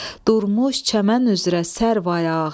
Durmuş çəmən üzrə sərvayağa,